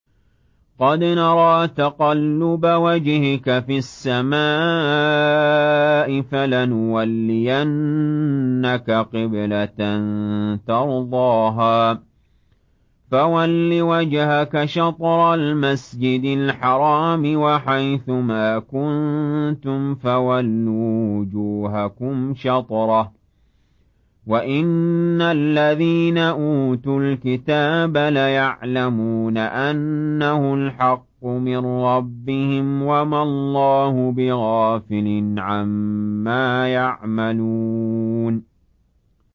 قَدْ نَرَىٰ تَقَلُّبَ وَجْهِكَ فِي السَّمَاءِ ۖ فَلَنُوَلِّيَنَّكَ قِبْلَةً تَرْضَاهَا ۚ فَوَلِّ وَجْهَكَ شَطْرَ الْمَسْجِدِ الْحَرَامِ ۚ وَحَيْثُ مَا كُنتُمْ فَوَلُّوا وُجُوهَكُمْ شَطْرَهُ ۗ وَإِنَّ الَّذِينَ أُوتُوا الْكِتَابَ لَيَعْلَمُونَ أَنَّهُ الْحَقُّ مِن رَّبِّهِمْ ۗ وَمَا اللَّهُ بِغَافِلٍ عَمَّا يَعْمَلُونَ